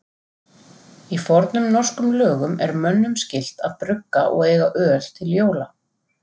Í fornum norskum lögum er mönnum skylt að brugga og eiga öl til jóla.